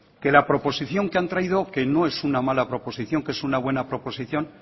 que la proposición que han traído que no es una mala proposición que es una buena proposición